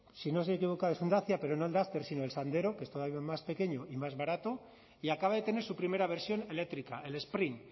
si no se equivoca es un dacia pero no el duster sino el sandero que es todavía más pequeño y más barato y acaba de tener su primera versión eléctrica el sprint